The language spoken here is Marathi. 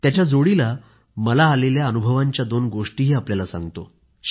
त्याच्या जोडीला मला आलेल्या अनुभवांच्या दोन गोष्टीही आपल्याला सांगतो